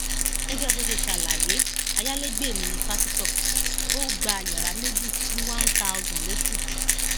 gẹgẹ bó ṣe ṣàlàyé ayalégbé mi ní pásítọ ó gba yàrá méjì ní wàún táọsán lóṣù